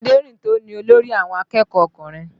Aderinto ni olórí àwọn akẹ́kọ̀ọ́ ọkùnrin